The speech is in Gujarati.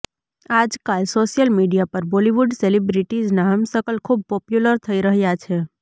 આજકાલ સોશિયલ મીડિયા પર બોલિવૂડ સેલિબ્રિટીઝના હમશકલ ખૂબ પોપ્યુલર થઈ રહ્યા છે